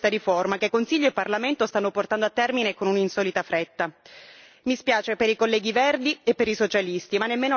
Mi spiace per i colleghi Verdi e per i Socialisti, ma nemmeno la foglia di fico della parità di genere potrà giustificare questa scandalosa riforma.